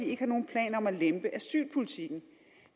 ikke har nogen planer om at lempe asylpolitikken